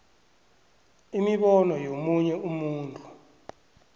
imibono yomunye umuntu